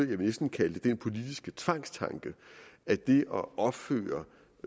vil næsten kalde det den politiske tvangstanke at det at opføre